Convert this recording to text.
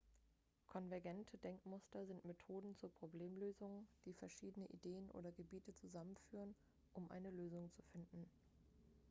konvergente denkmuster sind methoden zur problemlösung die verschiedene ideen oder gebiete zusammenführen um eine lösung zu finden